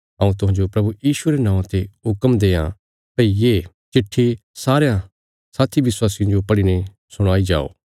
हऊँ तुहांजो प्रभु यीशुये रे नौआं ते हुक्म देआं भई ये पत्री सारयां साथी विश्वासियां जो पढ़ीने सुणाई जाओ